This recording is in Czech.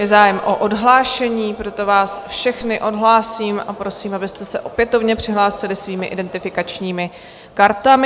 Je zájem o odhlášení, proto vás všechny odhlásím a prosím, abyste se opětovně přihlásili svými identifikačními kartami.